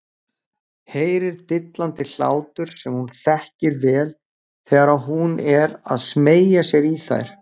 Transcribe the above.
Heyrir dillandi hlátur sem hún þekkir vel þegar hún er að smeygja sér í þær.